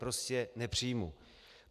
Prostě nepřijmu.